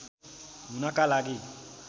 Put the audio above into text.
हुनका लागि